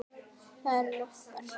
Það er okkar.